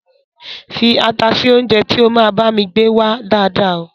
Fii ata sì oúnjẹ tí ó máa bami gbé wá dáàda o